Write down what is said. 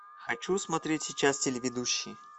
хочу смотреть сейчас телеведущий